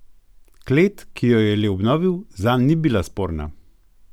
Klet, ki jo je le obnovil, zanj ni bila sporna.